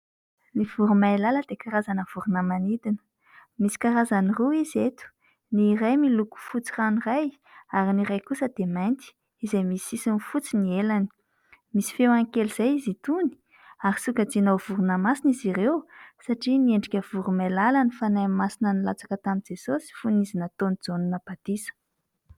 Ny voromailala dia karazana vorona manidina. Misy karazany roa izy eto : ny iray miloko fotsy ranoray, ary ny iray kosa dia mainty, izay misy sisiny fotsy ny elany. Misy feony kely izay izy itony, ary sokajiana ho vorona masina izy ireo, satria niendrika voromailala ny fanahy masina nilatsaka tamin'i Jesosy fony izy nataon'i Jaona batisa.